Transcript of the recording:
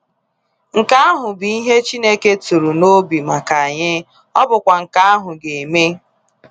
Nke ahụ bụ ihe Chineke tụrụ n’obi maka anyị, ọ bụkwa nke ahụ ga eme.